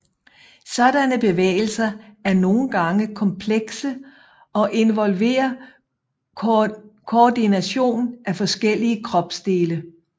Sådanne bevægelser er nogen gange komplekse og involverer koordination af forskellige kropsdele